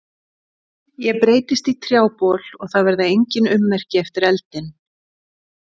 Ég breytist í trjábol og það verða engin ummerki eftir eldinn.